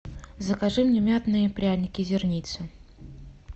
закажи мне мятные пряники зерница